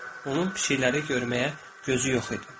Onun fikirləri görməyə gözü yox idi.